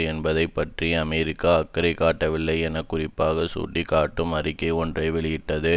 என்பதை பற்றி அமெரிக்கா அக்கறை காட்டவில்லை என குறிப்பாக சுட்டிக்காட்டும் அறிக்கை ஒன்றை வெளியிட்டது